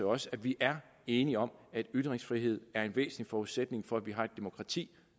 også at vi er enige om at ytringsfrihed er en væsentlig forudsætning for at vi har et demokrati